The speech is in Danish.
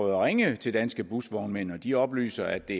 at ringe til danske busvognmænd og de oplyser at det